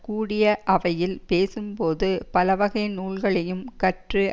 கூடிய அவையில் பேசும் போது பலவகை நூல்களையும் கற்று